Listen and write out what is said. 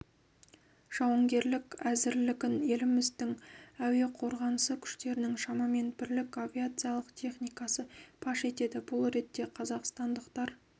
жауынгерлік әзірлігін еліміздің әуе қорғанысы күштерінің шамамен бірлік авиациялық техникасы паш етеді бұл ретте қазақстандықтар